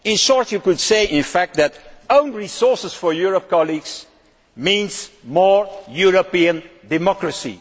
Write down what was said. In short, you could say that own resources for Europe colleagues means more European democracy